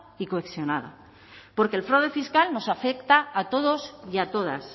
y cohesionada porque el fraude fiscal nos afecta a todos y a todas